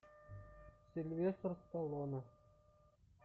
сильвестр сталлоне